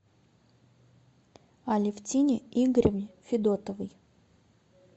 алевтине игоревне федотовой